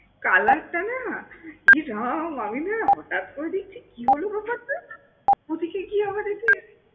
Colour টা না এ রাম, আমি না হঠাৎ করে দেখছি কি হলো ব্যাপারটা? পরে দেখি কি আমার এ যে